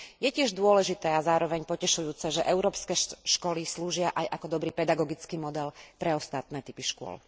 Je tiež dôležité a zároveň potešujúce, že európske školy slúžia aj ako dobrý pedagogický model pre ostatné typy škôl.